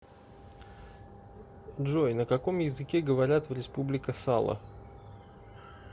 джой на каком языке говорят в республика сало